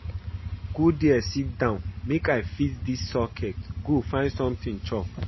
Go there sit down make I fix dis socket go find something chop